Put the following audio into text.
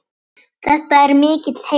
Þetta er mikill heiður.